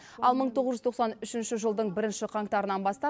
ал мың тоғыз жүз тоқсан үшінші жылдың бірінші қаңтарынан бастап